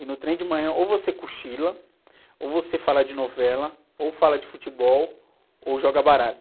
E no trem de manhã ou você cochila, ou você fala de novela, ou fala de futebol, ou joga baralho.